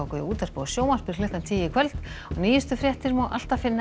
í útvarpi og sjónvarpi klukkan tíu í kvöld og nýjustu fréttir má alltaf finna